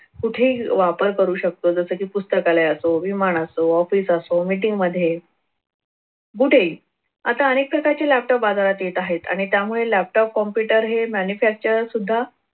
कुठेही वापर करू शकतो जसे की पुस्तकालय असो विमान असो office असो meeting मध्ये कुठेही आता अनेक प्रकारचे laptop बाजारात येत आहेत आणि त्यामुळे laptop computer हे manufacturer सुद्धा